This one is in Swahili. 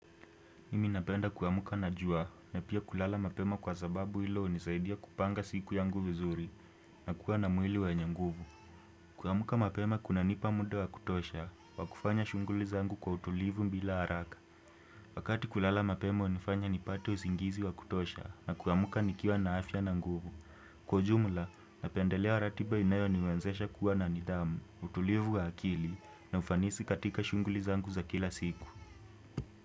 Mimi napenda kuamka na jua na pia kulala mapema kwa sababu hilo hunisaidia kupanga siku yangu vizuri na kuwa na mwili wenye nguvu. Kuamka mapema kunanipa mda wa kutosha, wa kufanya shughuli zangu kwa utulivu bila haraka. Wakati kulala mapema hunifanya nipate usingizi wa kutosha na kuamka nikiwa na afya na nguvu. Kwa ujumla, napendelea ratiba inayoniwezesha kuwa na nidhamu, utulivu wa akili na ufanisi katika shughuli zangu za kila siku.